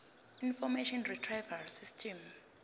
information retrieval system